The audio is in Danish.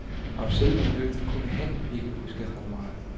Om selve ulykken kunne han ikke huske ret meget.